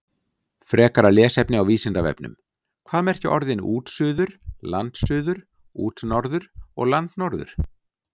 Frekara lesefni á Vísindavefnum: Hvað merkja orðin útsuður, landsuður, útnorður og landnorður?